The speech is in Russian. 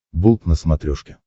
болт на смотрешке